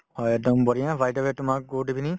হয়, একদম বঢ়িয়া by the way তোমাক good evening